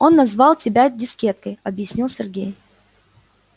он назвал тебя дискеткой объяснил сергей